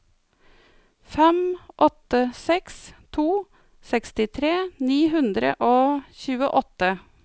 fem åtte seks to sekstitre ni hundre og tjueåtte